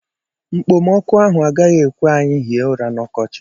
Mkpomọkụ ahụ agaghị ekwe anyị hie ụra n'ọkọchi a.